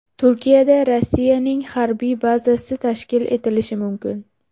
Turkiyada Rossiyaning harbiy bazasi tashkil etilishi mumkin.